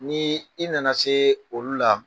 Ni i nana se olu la